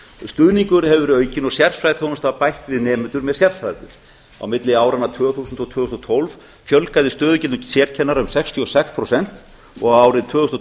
stuðningur hefur verið aukinn og sérfræðiþjónusta bætt við nemendur með sérþarfir á milli áranna tvö þúsund og tvö þúsund og tólf fjölgaði stöðugildum sérkennara um sextíu og sex prósent og árið tvö þúsund og